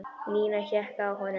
Nína hékk á honum.